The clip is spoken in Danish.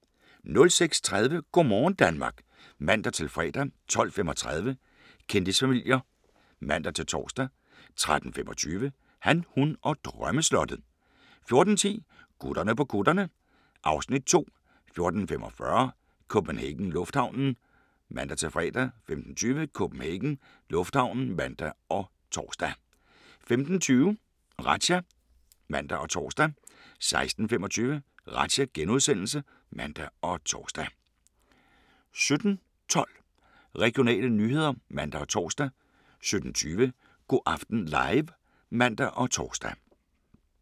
06:30: Go' morgen Danmark (man-fre) 12:35: Kendisfamilier (man-tor) 13:25: Han, hun og drømmeslottet 14:10: Gutterne på kutterne (Afs. 2) 14:45: CPH Lufthavnen (man-fre) 15:20: CPH Lufthavnen (man og tor) 15:50: Razzia (man og tor) 16:25: Razzia *(man og tor) 17:12: Regionale nyheder (man og tor) 17:20: Go' aften live (man og tor)